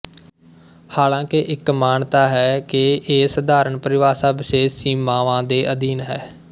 ਹਾਲਾਂਕਿ ਇੱਕ ਮਾਨਤਾ ਹੈ ਕਿ ਇਹ ਸਧਾਰਨ ਪਰਿਭਾਸ਼ਾ ਵਿਸ਼ੇਸ਼ ਸੀਮਾਵਾਂ ਦੇ ਅਧੀਨ ਹੈ